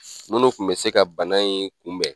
Minnu tun bɛ se ka bana in kunbɛn